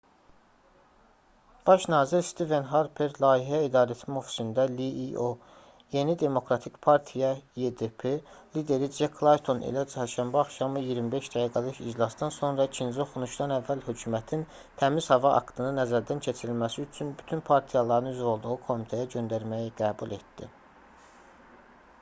baş nazir stiven harper layihə i̇darəetmə ofisində lio yeni demokratik partiya ydp lideri cek layton ilə çərşənbə axşamı 25 dəqiqəlik iclasdan sonra ikinci oxunuşdan əvvəl hökumətin təmiz hava aktını nəzərdən keçirilməsi üçün bütün partiyaların üzv olduğu komitəyə göndərməyi qəbul etdi